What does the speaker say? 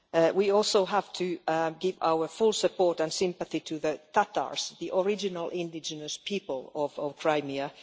We also have to give our full support and sympathy to the Tatars, the original indigenous people of Crimea.